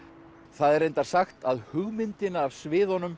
það er reyndar sagt að hugmyndina að sviðunum